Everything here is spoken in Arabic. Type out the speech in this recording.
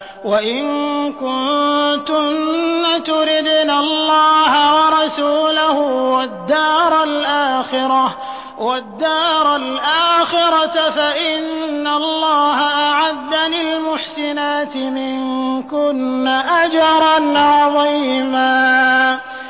وَإِن كُنتُنَّ تُرِدْنَ اللَّهَ وَرَسُولَهُ وَالدَّارَ الْآخِرَةَ فَإِنَّ اللَّهَ أَعَدَّ لِلْمُحْسِنَاتِ مِنكُنَّ أَجْرًا عَظِيمًا